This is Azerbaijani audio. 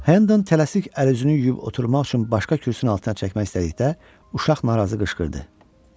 Hendon tələsik əl-üzünü yuyub oturmaq üçün başqa kürsünü altına çəkmək istədikdə uşaq narazı qışqırdı: